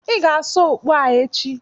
Ị ga-asa okpu a echi.